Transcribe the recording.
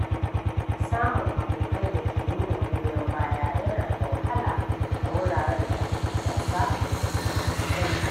Samun abokai da ke nuna goyon baya yana da wahala a wuraren da ake gasa da juna sosai.